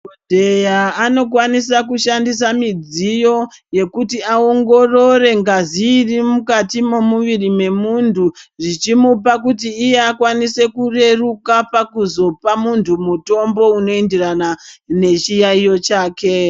Madhokodheya anokwanisa kushandisa midziyo yekuti aongorore ngazi irimukati memuviri memuntu zvimupa kuti iye akwanise kureruka pakuzopa mutombo unoenderana nechiyayiyo chake.